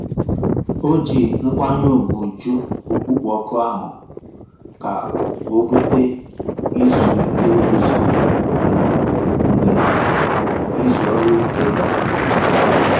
Ó jí nkwányè ùgwù jụ́ ọ̀kpụ́kpọ́ òkù áhụ̀ kà ó búté ízú íké ụ́zọ̀ um mgbe ízú ọ́rụ̀-íké gàsị̀rị́.